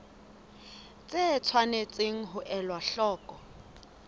tse tshwanetseng ho elwa hloko